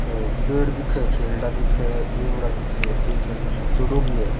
और पेड़ दिखे खेलडा दिखे उम्रा दिखे एक खेलडो सुखेड़ो भी है।